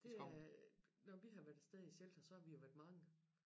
Det er når vi har været afsted i shelter så har vi jo været mange